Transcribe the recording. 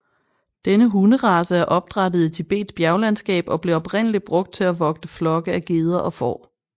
Denne hunderace er opdrættet i Tibets bjerglandskab og blev oprindelig brugt til at vogte flokke af geder og får